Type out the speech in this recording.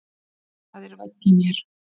Það er væll í mér.